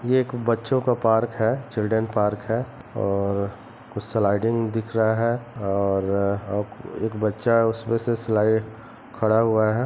ये एक बच्चों का पार्क है चिल्ड्रन पार्क है और कुछ स्लाइडिंग दिख रहा हैं और अ एक बच्चा उसपे से स्लाइड खड़ा हुआ है।